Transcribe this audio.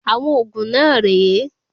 Àwọn òògùn náà rè é.